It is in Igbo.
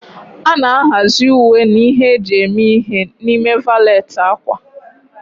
A na-ahazi uwe na ihe eji eme ihe n'ime valet ákwà.